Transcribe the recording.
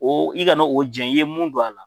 O i kana o jɛn i ye mun don a la.